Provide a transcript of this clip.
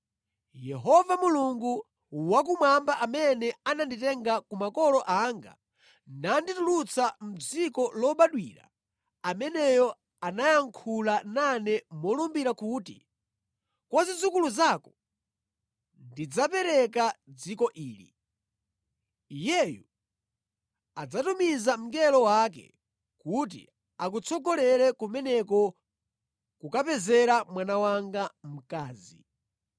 Yehova Mulungu wakumwamba amene ananditenga kwa makolo anga nanditulutsa mʼdziko lobadwira, ameneyo anayankhula nane molumbira kuti, ‘Kwa zidzukulu zako ndidzapereka dziko ili.’ Iyeyu adzatumiza mngelo wake kuti akutsogolere kumeneko kukapezera mwana wanga mkazi.